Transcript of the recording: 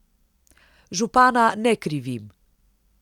Župana ne krivim.